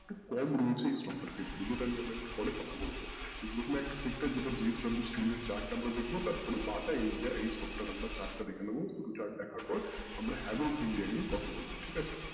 কম রয়েছে এই stock এর ক্ষেত্রে যেটা আমরা একটু পরে কথা বলবো তো প্রথম একটা sector যেটা JSW steel এর chart আমরা দেখবো তারপরে বাটা india এইসবের chart টা আমরা দেখে নেবো তারপরে chart দেখার পর আমরা india নিয়ে কথা বলবো ঠিক আছে?